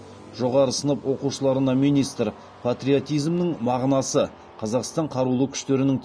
жоғары сынып оқушыларына министр патриотизмнің мағынасы қазақстан қарулы күштерінің